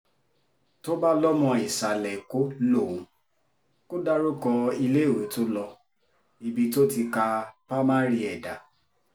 tó bá lọ́mọ ìsàlẹ̀-ẹ̀kọ́ lòun kò dárúkọ iléèwé tó lo ibi tó ti ká pa mari ẹ̀ dá